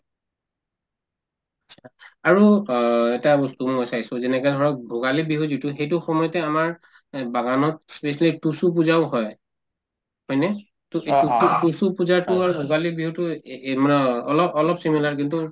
আৰু অ এটা বস্তু মই চাইছো যেনেকা ধৰক ভোগালী বিহু যিটো সেইটো সময়তে আমাৰ এই বাগানত specially তুচু পূজাও হয় হয়নে তুচু তুচু তুচু পূজাতো আৰু ভোগালী বিহুতো এএ এই মানে অলপ অলপ similar কিন্তু